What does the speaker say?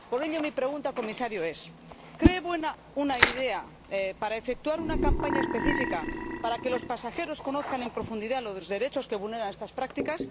Por ello, mi pregunta, señor Comisario, es ¿cree buena la idea de efectuar una campaña específica para que los pasajeros conozcan en profundidad los derechos que vulneran estas prácticas?